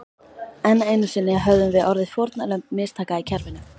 Enn einu sinni höfðum við orðið fórnarlömb mistaka í kerfinu.